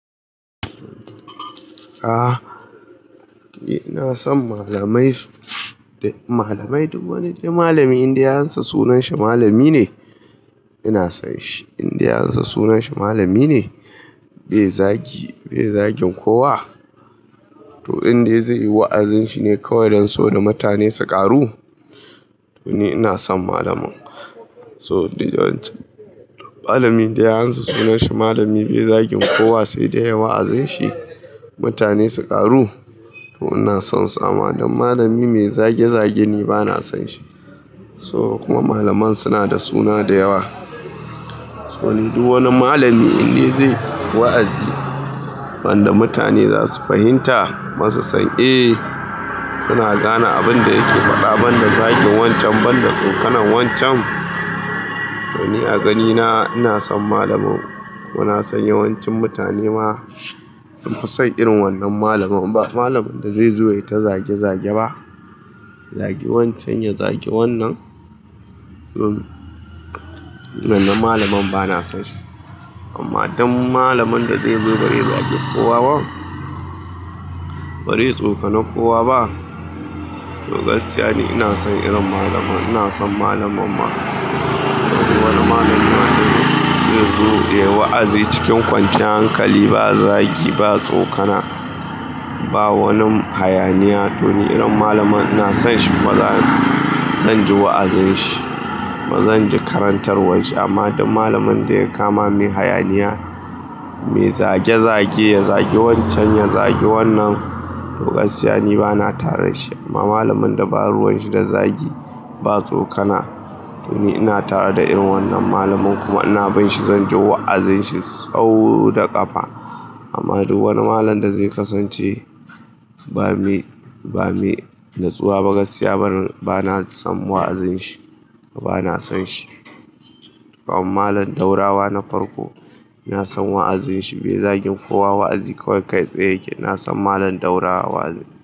A'a, eh ina son malamai su, malamai duk wani dai malami inda ya ansa sunan shi malami ne ina son shi. Inda ya ansa sunan shi malami ne bai zagi, bai zagin kowa to indai zai yi wa'azin shi ne kawai don saboda mutane su ƙaru to ni ina son malamin. So duk yawancin mallamin da ya ansa sunan shi malami bai zagin kowa sai dai yayi wa'azin shi mutane su ƙaru to ina sonsa amma don malami mai zage zage ni bana son shi. So kuma malaman suna da suna da yawa. To ni duk wani malami indai zai yi wa'azi wanda mutane za su fahimta kuma su san, eh suna gane abin da yake faɗa banda zagin wancan banda tsokanar wancan to ni a ganina ina son malamin. Kuma nasan yawancin mutane ma sun fi son irin wannan malamin ba malamin da zai zo yayi ta zage zage ba. Ya zagi wancan ya zagi wannan to gaskiya ni bana son shi. Amma don malamin da zai zo bazai zagi kowa ba bazai tsokana kowa ba to gaskiya ne ina son irin malamin. Ina son malamin ma wani mallami ma zai zo ya yi wa'azi cikin kwanciyar hankali ba zagi ba tsokana ba wani hayaniya to ni irin malamin ina son shi. Ba zan, zan ji wa'azin shi. Ba zan ji karantarwar shi amma duk malamin da ya kama mai hayaniya, mai zage zage, ya zagi wancan ya zagi wannan to gaskiya ni bana tare da shi. Amma malamin da ba ruwan shi da zagi ba tsokana to ni ina tare da irin wannan malamin kuma ina bin shi zan ji wa'azin shi sau da ƙafa. Amma duk wani malamin da zai kasance bamai, bamai nutsuwa ba gaskiya bana son wa'azin shi bana son shi. Kaman malamin ɗaurawa na farko ina son wa'azin shi bai zagin kowa wa'azi kawai kai tsaye yake ina son malam ɗaurawa wa'azi.